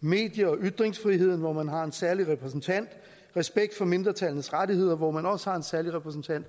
medie og ytringsfriheden hvor man har en særlig repræsentant respekt for mindretallenes rettigheder hvor man også har en særlig repræsentant